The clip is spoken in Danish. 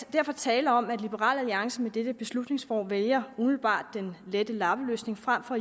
derfor tale om at liberal alliance med dette beslutningsforslag vælger umiddelbart den lette lappeløsning frem for